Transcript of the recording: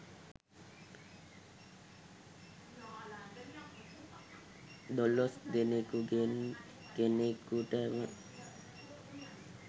දොලොස් දෙනෙකුගෙන් කෙනෙකුටම